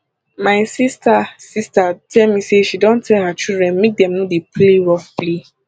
my sister sister tell me say she don tell her children make dem no dey play rough play